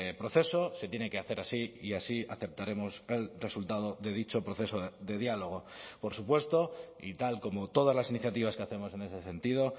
proceso se tiene que hacer así y así aceptaremos el resultado de dicho proceso de diálogo por supuesto y tal como todas las iniciativas que hacemos en ese sentido